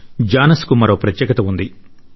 జానస్ కు మరో ప్రత్యేకత ఉంది